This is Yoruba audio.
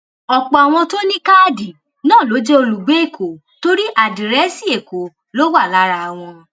ọpọ àwọn tó ní káàdì náà ló jẹ olùgbé èkó torí àdírẹsì èkó ló wà lára wọn